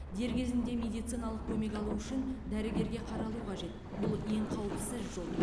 дер кезінде медициналық көмек алу үшін дәрігерге қаралу қажет бұл ең қауіпсіз жол